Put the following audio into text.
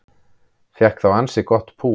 Fékk þá ansi gott pú